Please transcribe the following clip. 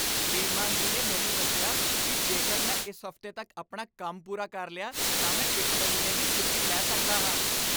ਸ੍ਰੀਮਾਨ ਜੀ ਨੇ ਮੈਨੂੰ ਦੱਸਿਆ ਕਿ ਜੇਕਰ ਮੈਂ ਇਸ ਹਫ਼ਤੇ ਤੱਕ ਆਪਣਾ ਕੰਮ ਪੂਰਾ ਕਰ ਲਿਆ ਤਾਂ ਮੈਂ ਇੱਕ ਮਹੀਨੇ ਦੀ ਛੁੱਟੀ ਲੈ ਸਕਦਾ ਹਾਂ!